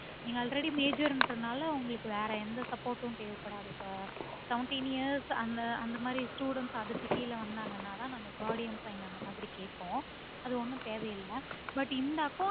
நீங்க already major இன்றதுனால உங்களுக்கு வேற எந்த support உம் தேவைப்படாது. இப்போ seventeen years அந்த அந்தமாரி students அதுக்கு கீழ வந்தங்கநாத நாங்க gaurdian sign அந்தமாரி கேட்போம் அது ஒன்னும் தேவையில்ல but இந்த account